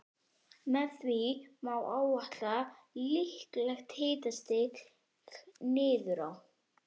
Blái klúturinn lá samankuðlaður á milli þeirra.